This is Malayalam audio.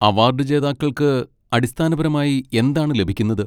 അവാർഡ് ജേതാക്കൾക്ക് അടിസ്ഥാനപരമായി എന്താണ് ലഭിക്കുന്നത്?